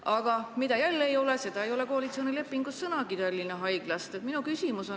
Aga koalitsioonilepingus ei ole Tallinna Haiglast sõnagi.